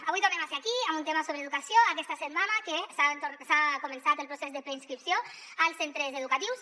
avui tornem a ser aquí amb un tema sobre educació aquesta setmana que ha començat el procés de preinscripció als centres educatius